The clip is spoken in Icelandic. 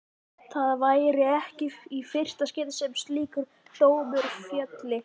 Það væri ekki í fyrsta skipti sem slíkur dómur félli.